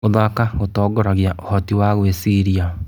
Gũthaka gũtongoragia ũhoti wa gwĩciria.